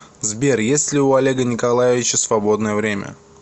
сбер есть ли у олега николаевича свободное время